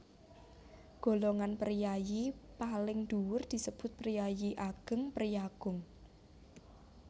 Golongan priyayi paling dhuwur disebut Priayi Ageng priyagung